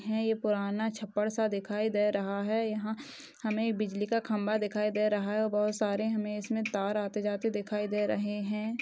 ये ह पुराना छप्पड़ सा दिखाई दे रहा है यहा हं हमे बिजली का खंबा दिखाई दे रहा है और बहुत सारे हमे इसमे तार आते - जाते दिखाई दे रहे है।